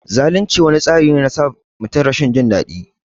Zalunci wani tsari ne na sa mutum Jin rashin dadi.